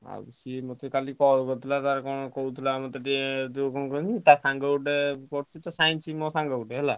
ଆଉ ସିଏ ମତେ କାଲି call କରିଥିଲା ତାର କଣ କହୁଥିଲାମତେ ଟିକେ ଯୋଉ କଣ କହନୀ ଟା ସାଙ୍ଗ ଗୋଟେ ପଢୁଛି ତ Science ମୋ ସାଙ୍ଗ ଗୋଟେ।